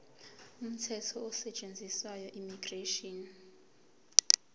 umthetho osetshenziswayo immigration